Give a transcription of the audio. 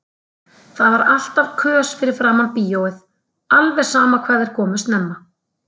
Það var alltaf kös fyrir framan bíóið, alveg sama hvað þeir komu snemma.